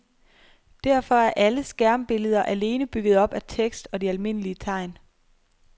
Derfor er alle skærmbilleder alene bygget op af tekst og de almindelige tegn.